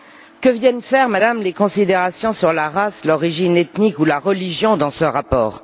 Que viennent faire, Madame, les considérations sur la race, l'origine ethnique ou la religion dans ce rapport?